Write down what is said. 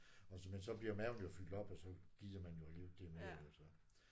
Og så men så bliver maven jo fyldt op og så gider man jo alligevel ikke det altså